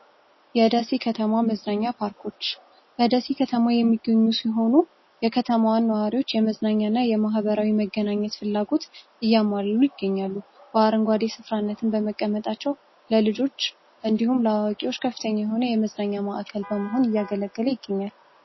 የደሴ ከተማ መዝናኛ ፓርኮች በደሲ ከተማ የሚገኙ ሲሆኑ የከተማዋን ዋሪዎች የመዝናኛ እና የማህበራዊ መገናኘት ፍላጎት እያማሉ ይገኛሉ። በአርንጓዴ ስፍራነት በመቀመጣቸው ለልጆች እንዲሁም ለዋቂዎች ከፍተኛ የሆነ የመዝናኛ ማዕከል በመሆን እያገለገለ ይገኛል።